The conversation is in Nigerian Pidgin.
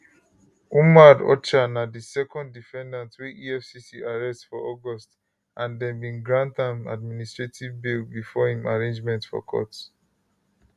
umar orcha na di second defendant wey efcc arrest for august and dem bin grant am administrative bail before im arraignment for court